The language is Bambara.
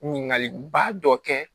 Ɲininkaliba dɔ kɛ